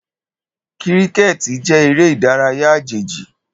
Kíríkẹ̀tì jẹ́ eré ìdárayá àjèjì